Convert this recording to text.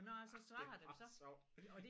Det er bare sjovt